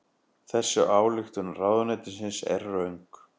Þessi ályktun ráðuneytisins er röng